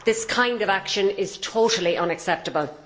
This kind of action is totally unacceptable.